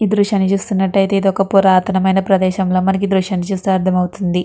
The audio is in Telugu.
ఈ దృశ్యాన్ని చూస్తుంటే ఇది ఒక పురాతన మైన ప్రదేశం గా ఈ దృశ్యాన్ని చూస్తే అర్దమవుతుంది.